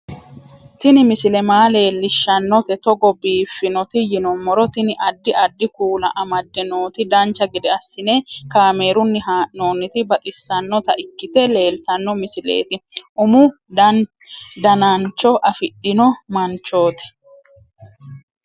Tini misile maa leellishshannote togo biiffinoti yinummoro tini. addi addi kuula amadde nooti dancha gede assine kaamerunni haa'noonniti baxissannota ikkite leeltanno misileeti umu danancho afidhino manchooti